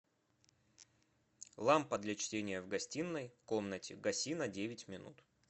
лампа для чтения в гостиной комнате гаси на девять минут